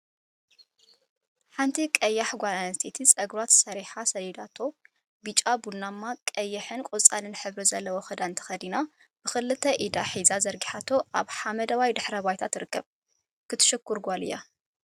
6. ሓንቲ ቀያሕ ጓል አንስተይቲ ፀጉራ ተሰሪሓን ሰዲዳቶን ብጫ፣ ቡናማ፣ ቀይሕን ቆፃልን ሕብሪ ዘለዎ ክዳን ተከዲና ብክልተ ኢዳ ሒዛ ዘርጊሓቶ አብ ሓመደዋይ ድሕረ ባይታ ትርከብ። ክትሽኩር ጓል እያ።